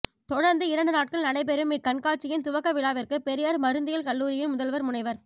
தொடர்ந்து இரண்டு நாட் கள் நடைபெறும் இக்கண்காட் சியின் துவக்க விழாவிற்கு பெரியார் மருந்தியல் கல்லூரி யின் முதல்வர் முனைவர்